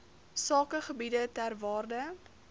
sakegebiede ter waarde